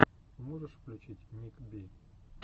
можешь включить ник би